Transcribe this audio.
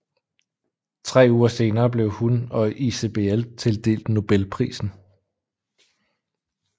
Tre uger senere blev hun og ICBL tildelt Nobelprisen